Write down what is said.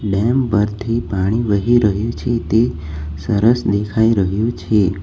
Dam પરથી પાણી વહી રહ્યું છે તે સરસ દેખાઈ રહ્યું છે.